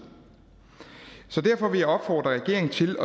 så derfor vil jeg opfordre regeringen til